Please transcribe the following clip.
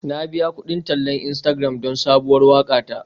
Na biya kudin tallan Instagram don sabuwar waƙa ta.